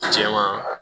Jɛman